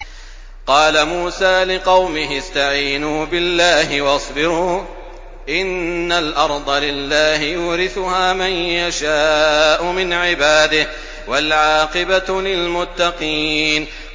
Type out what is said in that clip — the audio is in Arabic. قَالَ مُوسَىٰ لِقَوْمِهِ اسْتَعِينُوا بِاللَّهِ وَاصْبِرُوا ۖ إِنَّ الْأَرْضَ لِلَّهِ يُورِثُهَا مَن يَشَاءُ مِنْ عِبَادِهِ ۖ وَالْعَاقِبَةُ لِلْمُتَّقِينَ